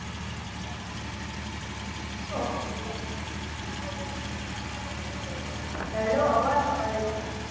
hello અવાજ આવે છે